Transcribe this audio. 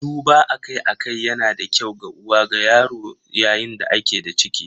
Duba akai-akai yana da kyau ga uwa da yaro yayin da ake da ciki.